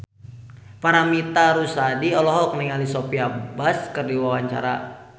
Paramitha Rusady olohok ningali Sophia Bush keur diwawancara